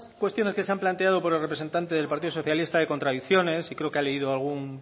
cuestiones que se han planteado por el representante del partido socialista de contradicciones y creo que ha leído algún